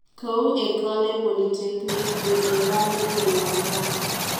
Kou Ecole Polytechnique F'ed'erale de Lausanne .